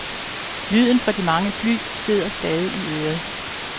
Lyden fra de mange fly sidder stadig i øret.